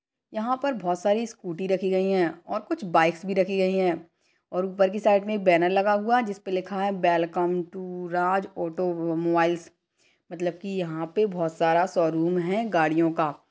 यहाँ पर बहुत सारी स्कूटी रखी गई है और कुछ बाइक्स भी रखी गई है और ऊपर की साइड में एक बेनर लगा हुआ है जिसपे लिखा है वेलकम टू राज औटोमोबाइल्स मतलब की यहाँ पे बहुत सारा शोरूम है गाड़ियो का।